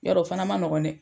Yarɔ o fana ma nɔgɔn dɛ.